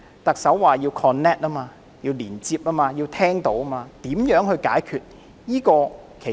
特首說要 connect、即要同行、要聆聽，那麼如何解決問題呢？